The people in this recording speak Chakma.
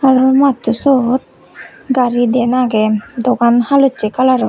uo matto siyot gari diyen aagey duogan halosay calaror .